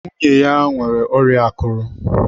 Nwunye ya nwere ọrịa akụrụ.